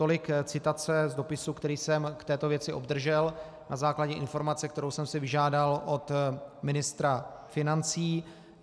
Tolik citace z dopisu, který jsem k této věci obdržel na základě informace, kterou jsem si vyžádal od ministra financí.